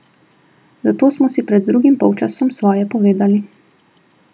Zato smo si pred drugim polčasom svoje povedali.